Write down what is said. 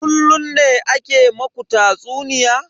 Kullun ne ake ma ku tatsuniya?